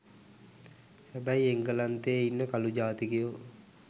හැබැයි එංගලන්තේ ඉන්න කළු ජාතිකයෝ